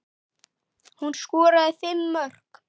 Hún skoraði fimm mörk.